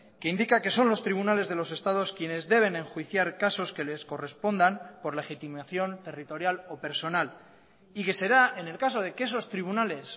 que indica que son los tribunales de los estados quienes deben enjuiciar casos que les correspondan por legitimación territorial o personal y que será en el caso de que esos tribunales